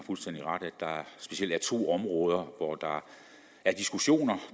specielt er to områder hvor der er diskussioner